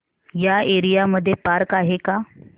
या एरिया मध्ये पार्क आहे का